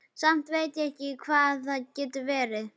Samt veit ég ekki hvað það getur verið.